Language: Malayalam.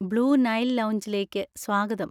ബ്ലൂ നൈൽ ലൗഞ്ചിലേക്ക് സ്വാഗതം.